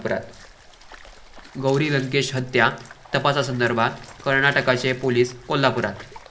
गौरी लंकेश हत्या तपासासंदर्भात कर्नाटकचे पोलीस कोल्हापुरात